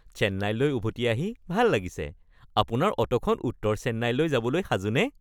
চেন্নাইলৈ উভতি আহি ভাল লাগিছে। আপোনাৰ অ’টোখন উত্তৰ চেন্নাইলৈ যাবলৈ সাজুনে?